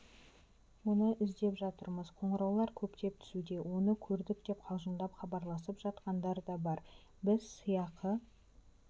оны іздеп жатырмыз қоңыраулар көптеп түсуде оны көрдік деп қалжыңдап хабарласып жатқандар да бар біз сыйақы